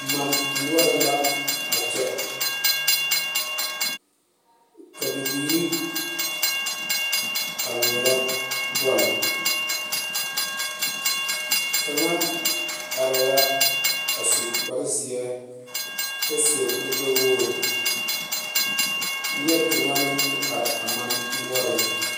Mane noɔre la a kyɛ ka bibiiri a ŋmeɛrɛ bol kaŋa are la a su kpare ziɛ kyɛ seɛ kuri gbe wogre nie kaŋa meŋ te are a mane noɔre.